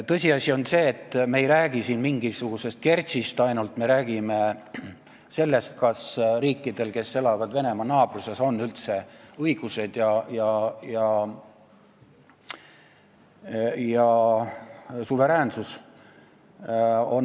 Tõsiasi on see, et me ei räägi siin ainult mingisugusest Kertšist, me räägime sellest, kas riikidel, mis asuvad Venemaa naabruses, on üldse õigused ja suveräänsus.